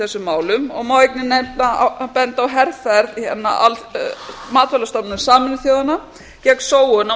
þessum málum og má einnig benda á herferð matvælastofnunar sameinuðu þjóðanna gegn sóun á